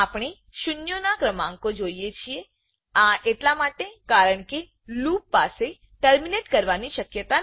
આપણે શૂન્યો ના ક્રમાંકો જોઈએ છીએઆ એટલા માટે કારણકે લૂપ લુપપાસે ટર્મીનેટ કરવાની શક્યતા નથી